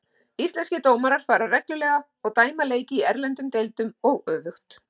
Íslenskir dómarar fara reglulega og dæma leiki í erlendum deildum og öfugt.